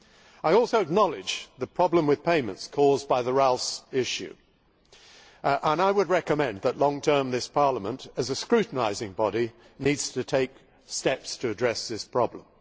I also acknowledge the problems with payments caused by the reste liquider' issue, and I would recommend that in the long term this Parliament, as a scrutinising body, needs to take steps to address this problem.